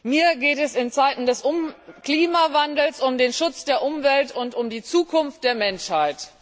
Mir geht es in Zeiten des Klimawandels um den Schutz der Umwelt und um die Zukunft der Menschheit.